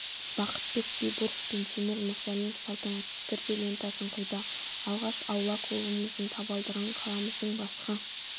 бақытбек байбуров пен тимур мүрсәлімов салтанатты түрде лентасын қиды алғаш аула клубының табалдырығын қаламыздың басқа